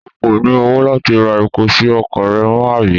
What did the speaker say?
O kò ní owó láti ra epo sí ọkọ̀ rẹ mọ́, àbí?